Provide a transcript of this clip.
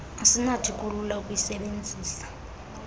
asinakuthi kulula ukuyisebenzisa